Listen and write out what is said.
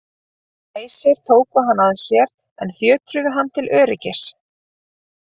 Æsir tóku hann að sér en fjötruðu hann til öryggis.